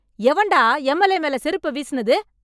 எவன்டா எம்எல்ஏ மேல செருப்ப வீசுனது?